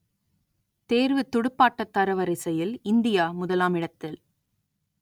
தேர்வுத் துடுப்பாட்டத் தரவரிசையில் இந்தியா முதலாம் இடத்தில்